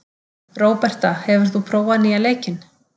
Róberta, hefur þú prófað nýja leikinn?